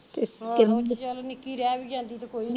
ਆਹੋ ਚੱਲ ਨਿਕੀ ਰਹਿ ਵੀ ਜਾਂਦੀ ਤੇ ਕੋਈ